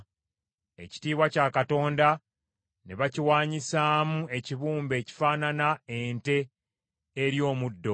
Ekitiibwa kya Katonda ne bakiwaanyisaamu ekibumbe ekifaanana ente erya omuddo.